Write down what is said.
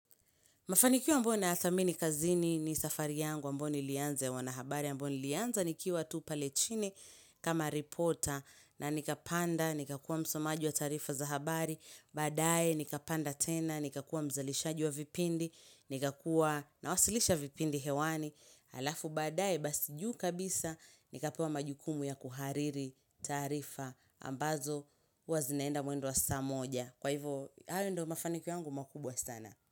Mafanikio ambayo nayadhamini kazini ni safari yangu ambayo nilianza ya wanahabari ambayo nilianza nikiwa tu pale chini kama reporter na nikapanda, nikakuwa msomaji wa taarifa za habari badaaye nikapanda tena, nikakuwa mzalishaji wa vipindi nikakuwa na wasilisha vipindi hewani, Halafu badaaye basi juu kabisa nikapewa majukumu ya kuhariri taarifa ambazo huwa zinaenda mwendo wa saa moja Kwa hivyo, hayo ndio mafanikio yangu makubwa sana.